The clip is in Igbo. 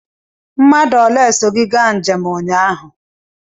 Mmadụ ole so gị gaa njem ụnyaahụ?